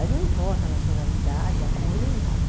Aí não importa a nacionalidade, a cor nem nada.